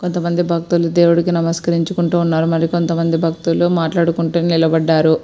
కొంతమంది భక్తులు దేవుడికి నమస్కరించుకుంటున్నారు మరి కొంత మంది భక్తులు మాట్లాడుకుంటూ నిలబడ్డారు.